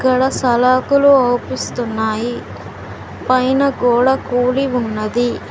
ఇక్కడ సలాకులు ఓపిస్తున్నాయి. పైన గోడ కూలి ఉన్నది.